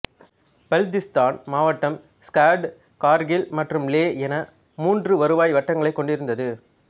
பல்திஸ்தான் மாவட்டம் ஸ்கர்டு கார்கில் மற்றும் லே என மூன்று வருவாய் வட்டங்களைக் கொண்டிருந்தது